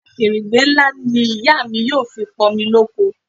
Akèrègbè ńlá ni ìyá mi yóò fi pọ̀n omi loko